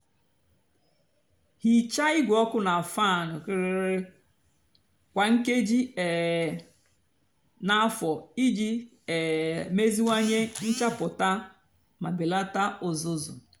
hịcha igwe ọkụ nà fan kwá nkéjí um nà-àfó íjì um meziwanye nchapụta mà belata uzuzu.